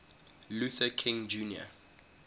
luther king jr